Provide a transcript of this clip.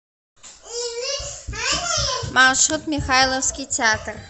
маршрут михайловский театр